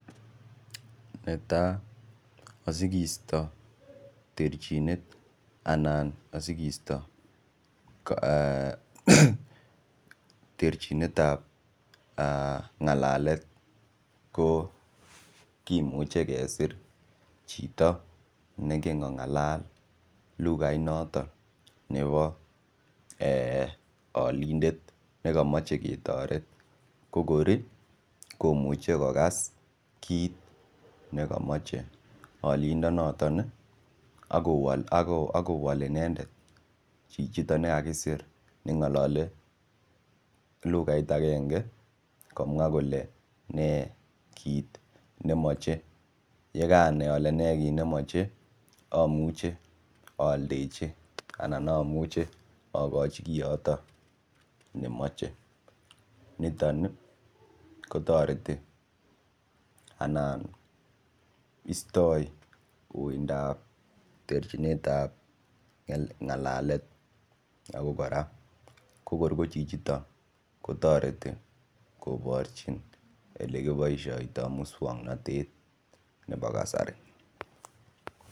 Netai asikisto terchinet anan asikisto terchinet ap ngalalet ko kimuchei kesir chito neingen kongalal lukait noton nebo olindet nekamochei ketoret ko kor komuchei kokas kiit nekamochei olindo noton akowol inendet chichito kakisir nengololi lukait akenge komwa kole ne kiit nemochei yekanai ale ne kit nemochei amuche aldechi anan amuche akochi koyoto nemoche niton kotoreti ana istoi uindap terchinet ap ngalalet ako kora ko kor ko chichito kotoreti koborchin olekiboishoitoi muswongnotet nebo kasari.